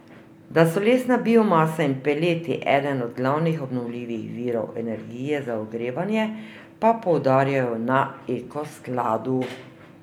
Da so lesna biomasa in peleti eden od glavnih obnovljivih virov energije za ogrevanje, pa poudarjajo na Eko skladu.